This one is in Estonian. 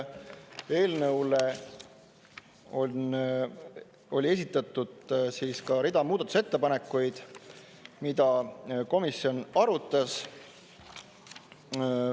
Eelnõule on esitatud rida muudatusettepanekuid, mida komisjon arutas.